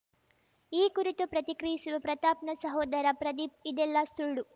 ಈ ಕುರಿತು ಪ್ರತಿಕ್ರಿಯಿಸಿರುವ ಪ್ರತಾಪ್‌ನ ಸಹೋದರ ಪ್ರದೀಪ್‌ ಇದೆಲ್ಲ ಸುಳ್ಳು